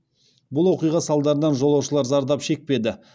бұл оқиға салдарынан жолаушылар зардап шекпеді